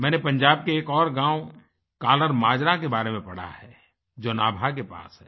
मैंने पंजाब के एक और गाँव कल्लर माजरा के बारे में पढ़ा है जो नाभा के पास है